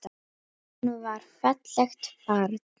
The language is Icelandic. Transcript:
Hún var fallegt barn.